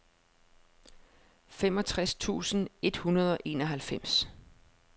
femogtres tusind et hundrede og enoghalvfems